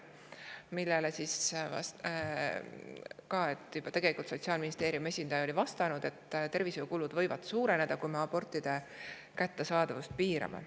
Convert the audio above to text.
Sellele oli Sotsiaalministeeriumi esindaja juba varem vastanud, et tervishoiukulud võivad suureneda, kui me abortide kättesaadavust piirame.